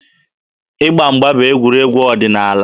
Ịgba mgba bụ egwuregwu ọdịnaala.